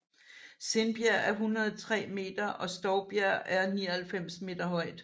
Sindbjerg er 103 meter og Stovbjerg er 99 meter højt